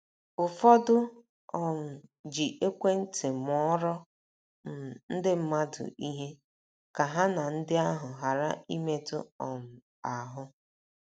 Ụfọdụ um ji ekwentị mụọrọ um ndị mmadụ ihe, ka ha na ndị ahụ ghara ịmetụ um ahụ́.